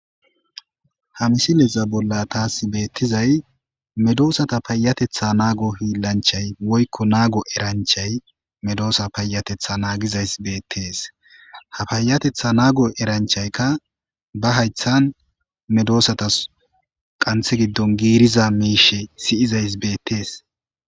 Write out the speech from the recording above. ha misileza bolla taas beettizay medoosata payatetha naago hiillanchay woykko naago eranchay medoosa payatetha naagizays beettees ha payatetha naago eranchaykka ba haythan medoosatas qanthe giddon giiriza miishe siyizays beettees